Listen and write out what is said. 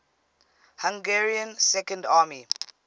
hungarian second army